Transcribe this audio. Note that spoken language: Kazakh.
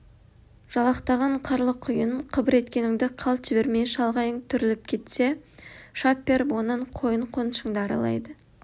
жалақтаған қарлы құйын қыбыр еткеніңді қалт жібермей шалғайың түріліп кетсе шап беріп онан қойын қонышыңды аралайды